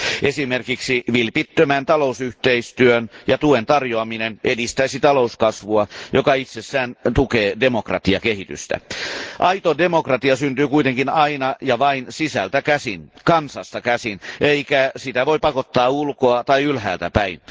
Esimerkiksi vilpittömän talousyhteistyön ja tuen tarjoaminen edistäisi talouskasvua, joka itsessään tukee demokratiakehitystä. Aito demokratia syntyy kuitenkin aina ja vain sisältä käsin, kansasta käsin, eikä sitä voi pakottaa ulkoa tai ylhäältä päin.